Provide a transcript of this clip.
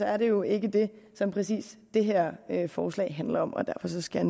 er det jo ikke det som præcis det her forslag handler om og derfor skal